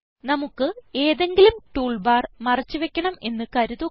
നമുക്ക് ഏതെങ്കിലും tool bar മറച്ച് വയ്ക്കണം എന്ന് കരുതുക